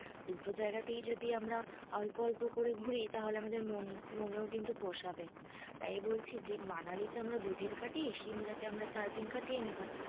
দুটো জায়গাতেই যদি আমরা, অল্প অপ্ল করে ঘুরি, তাহলে আমাদের মন~মনে ও কিন্তু পোষাবে না, তাই বলছি যে মানালিতে আমরা দুদিন কাটিয়ে, সিমলাতে আমরা চারদিন কাটিয়ে নেবো